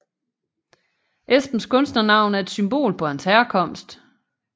Esbens kunsternavn er et symbol på hans herkomst